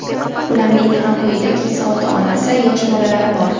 Ularning ham uyida keksa ota-onasi, yosh bolalari bor.